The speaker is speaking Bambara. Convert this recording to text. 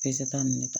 Peseta ninnu ne ta